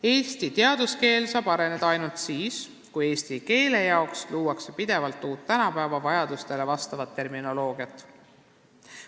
Eesti teaduskeel saab areneda ainult siis, kui eesti keele jaoks luuakse pidevalt uut, tänapäeva vajadustele vastavat terminoloogiat.